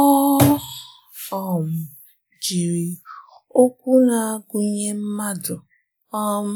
Ọ um jiri okwu na-agụnye mmadụ um